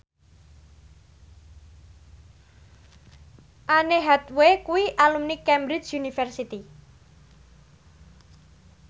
Anne Hathaway kuwi alumni Cambridge University